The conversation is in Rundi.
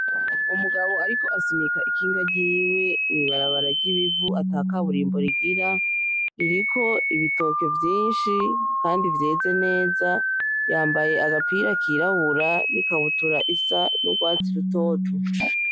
Umugabo ariko asunika ikinga ryiwe mw’ibarabara ry’ibivu ata kaburimbo rigira ,ririko ibitoke vyinshi kandi vyeze neza, yambaye agapira kirabura n’ikabutura isa n’urwatsi rutoto.